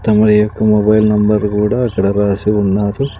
తమరి యొక్క mobile number కూడా అక్కడ రాసి ఉన్నారు.